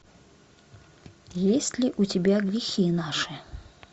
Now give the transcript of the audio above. есть ли у тебя грехи наши